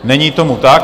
Není tomu tak.